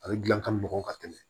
A bɛ gilan ka mugan ka tɛmɛ